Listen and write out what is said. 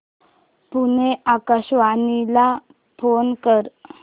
पुणे आकाशवाणीला फोन कर